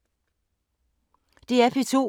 DR P2